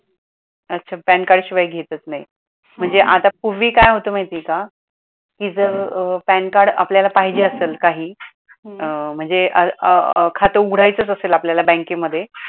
अच्छा pan card शिवाय घेतच नाही. म्हणजे आता पूर्वी काय होतं महिती आहे का कि जर pan card आपल्याला पाहिजे असेल काही म्हणजे अं खात उघडयचच असेल आपल्याला बँकेमध्ये